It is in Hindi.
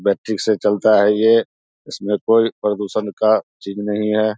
बैटिक से चलता है ये इसमें कोई प्रदूषण का चिज नहीं है।